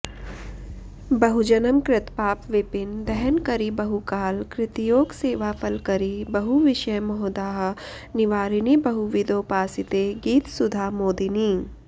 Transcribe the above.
बहुजन्म कृतपाप विपिन दहनकरि बहुकाल कृतयोग सेवाफलकरि बहुविषय मोहदाह निवारिणि बहुविदोपासिते गीतसुधामोदिनि